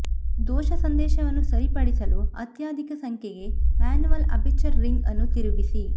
ದೋಷ ಸಂದೇಶವನ್ನು ಸರಿಪಡಿಸಲು ಅತ್ಯಧಿಕ ಸಂಖ್ಯೆಗೆ ಮ್ಯಾನ್ಯುವಲ್ ಅಪೆಚರ್ ರಿಂಗ್ ಅನ್ನು ತಿರುಗಿಸಿ